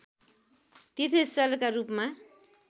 तीर्थस्थलका रूपमा